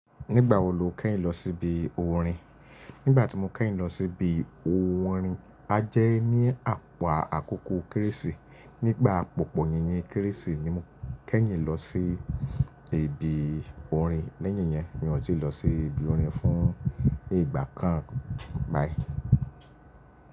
Nígbà wo lo kẹ́yìn lọ sí ibi orin? Nígbà tí mo kẹ́yìn lọ sí ibi orin, a jẹ́ ní àpá àkókò Kérésì. Nígbà pòpo yíyín Kérésì ni mo kẹ́yìn lọ sí ibi orin. Lẹ́yìn yẹn, mi ò tí lọ sí ibi orin fún ìgbà kan báyìí.